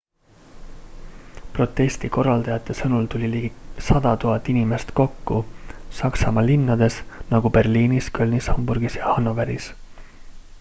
protesti korraldajate sõnul tuli ligi 100 000 inimest kokku saksamaa linnades nagu berliinis kölnis hamburgis ja hanoveris